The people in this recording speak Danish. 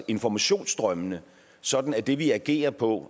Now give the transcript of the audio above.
informationsstrømmene sådan at det vi agerer på